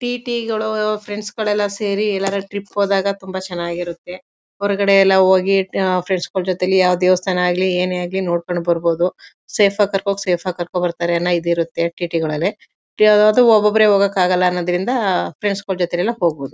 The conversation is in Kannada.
ಟಿ_ಟಿ ಗಳು ಫ್ರೆಂಡ್ಸ್ ಎಲ್ಲ ಸೇರಿ ಎಲ್ಲಾದ್ರೂ ಟ್ರಿಪ್ ಹೋದಾಗ ತುಂಬಾ ಚೆನ್ನಾಗಿರುತ್ತೆ ಹೊರಗಡೆ ಎಲ್ಲ ಹೋಗಿ ಆ ಫ್ರೆಂಡ್ಸ್ ಗಳ ಜೊತೇಲಿ ಯಾವ ದೇವಸ್ಥಾನ ಆಗಲಿ ಏನೇ ಆಗ್ಲಿ ನೋಡ್ಕೊಂಡು ಬರ್ಬಹುದು ಸೇಫ್ ಆಗಿ ಕರ್ಕೊಂಡು ಹೋಗಿ ಸೇಫ್ ಆಗಿ ಕರ್ಕೊಂಡು ಬರ್ತಾರೆ ಎಲ್ಲಾ ಇದು ಇರುತ್ತೆ ಟಿ_ಟಿ ಗಳಲ್ಲಿ ಈಗ ಅದು ಒಬ್ಬೊಬ್ಬರೇ ಹೋಗಕೆ ಆಗಲ್ಲ ಅನೋದರಿಂದ ಫ್ರೆಂಡ್ಸ್ ಗಳ ಜೊತೆ ಎಲ್ಲ ಹೋಗ್ಬಹುದು.